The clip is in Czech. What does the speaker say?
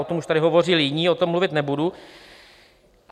O tom už tady hovořili jiní, o tom mluvit nebudu.